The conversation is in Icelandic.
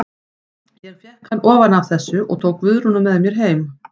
Ég fékk hann ofan af þessu og tók Guðrúnu með mér heim.